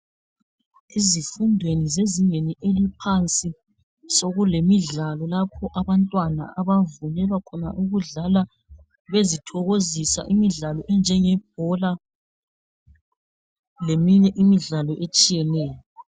Ezifundweni zezingeni eliphansi sekulemidlalo lapho abantwana abavunyelwa khona ukudlala bezithokozisa imidlalo enjenge bhola leminye imidlalo etshiyeneyo.